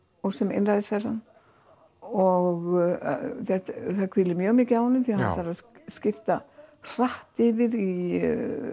og sem einræðisherrann og það hvílir mjög mikið á honum því hann þarf að skipta hratt yfir í